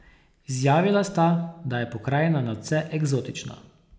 Izjavila sta, da je pokrajina nadvse eksotična.